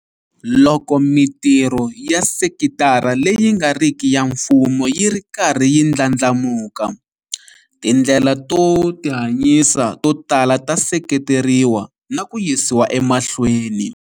Loko mitirho ya sekitara leyi nga riki ya mfumo yi ri karhi yi ndlandlamuka, tindlela to tihanyisa to tala ta seketeriwa na ku yisiwa emahlweni.